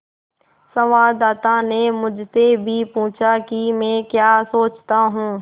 संवाददाता ने मुझसे भी पूछा कि मैं क्या सोचता हूँ